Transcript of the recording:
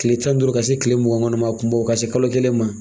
Tile tan ni duuru ka se tile mugan kɔni ma kunbɔ ka se kalo kelen ma